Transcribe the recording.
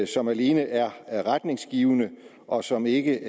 som alene er er retningsgivende og som ikke